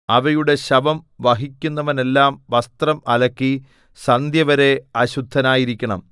അവയുടെ ശവം വഹിക്കുന്നവനെല്ലാം വസ്ത്രം അലക്കി സന്ധ്യവരെ അശുദ്ധനായിരിക്കണം